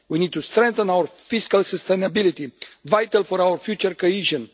We need to strengthen our fiscal sustainability, vital for our future cohesion.